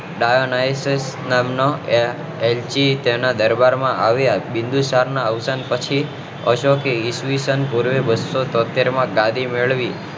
દયોનૈઝ નામ નો એ એલ્ચી તેના દરબાર માં આવ્યા બીન્દુસારના અવસાન પછી ઓદ્યોગિક ઈસ્વીસન પૂર્વે બસો તોતેર માં ગાડી મેળવી